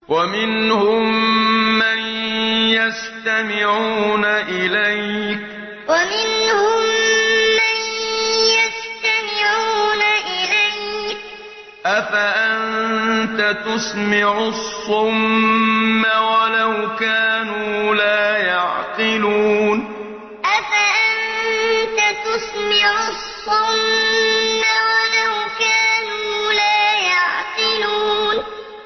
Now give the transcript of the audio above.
وَمِنْهُم مَّن يَسْتَمِعُونَ إِلَيْكَ ۚ أَفَأَنتَ تُسْمِعُ الصُّمَّ وَلَوْ كَانُوا لَا يَعْقِلُونَ وَمِنْهُم مَّن يَسْتَمِعُونَ إِلَيْكَ ۚ أَفَأَنتَ تُسْمِعُ الصُّمَّ وَلَوْ كَانُوا لَا يَعْقِلُونَ